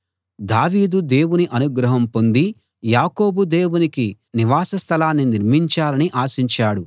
దావీదు దేవుని అనుగ్రహం పొంది యాకోబు దేవునికి నివాస స్థలాన్ని నిర్మించాలని ఆశించాడు